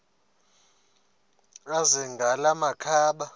azele ngala makhaba